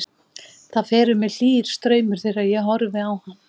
Það fer um mig hlýr straumur þegar ég horfi á hann.